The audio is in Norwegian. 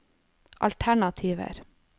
alternativer